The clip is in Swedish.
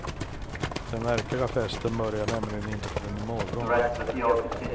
Den verkliga festen börjar nämligen inte förrän imorgon.